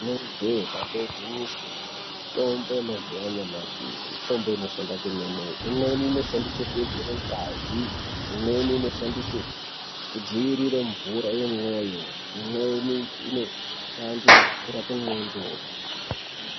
Rinenge jee damba igwinyiso mitombo yemazuwa anyamashi mitombo inoshanda kwemene. Imweni inoshandiswe kuwedzere ngazi, imweni inoshandise kudzivirire mvura yemwoyo imweni inoshande kurape ndxondo.